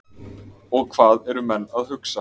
Og hvað eru menn að hugsa?